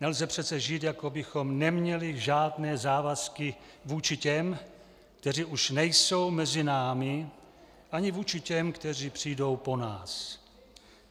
Nelze přece žít, jako bychom neměli žádné závazky vůči těm, kteří už nejsou mezi námi, ani vůči těm, kteří přijdou po nás.